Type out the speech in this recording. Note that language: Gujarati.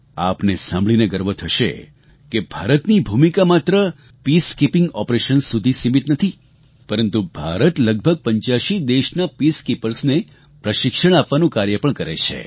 આપને સાંભળીને ગર્વ થશે કે ભારતની ભૂમિકા માત્ર પીસકીપિંગ ઓપરેશન્સ સુધી જ સીમિત નથી પરંતુ ભારત લગભગ 85 દેશના Peacekeepersને પ્રશિક્ષણ આપવાનું કાર્ય પણ કરે છે